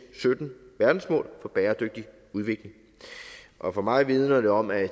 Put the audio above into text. sytten verdensmål for bæredygtig udvikling og for mig vidner det om at